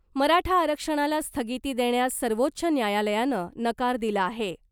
मराठा आरक्षणाला स्थगिती देण्यास सर्वोच्च न्यायालयानं नकार दिला आहे .